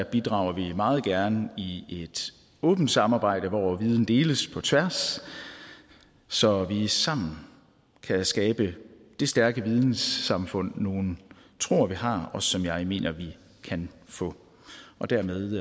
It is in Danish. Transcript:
bidrager vi meget gerne i et åbent samarbejde hvor viden deles på tværs så vi sammen kan skabe det stærke vidensamfund nogle tror vi har og som jeg mener vi kan få og dermed